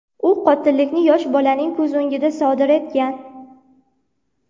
U qotillikni yosh bolaning ko‘z o‘ngida sodir etgan.